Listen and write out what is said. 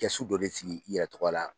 Kɛsu dɔ de sigi i yɛrɛ tɔgɔ la